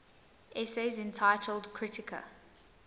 essays entitled kritika